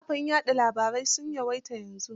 Kafafen wasa labarai sun yawaita yanzu.